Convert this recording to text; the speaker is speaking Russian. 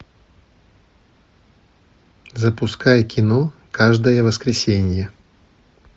запускай кино каждое воскресенье